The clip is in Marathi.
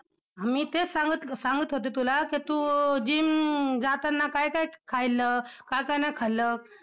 मी तेच सांगत सांगत होते तुला कि तू gym जाताना काय काय खाल्लं, काय काय नाही खाल्लं?